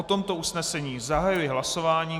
O tomto usnesení zahajuji hlasování.